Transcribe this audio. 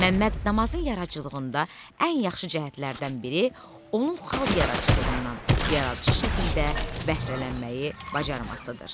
Məmməd Namazın yaradıcılığında ən yaxşı cəhətlərdən biri onun xalq yaradıcılığından yaradıcı şəkildə bəhrələnməyi bacarmasıdır.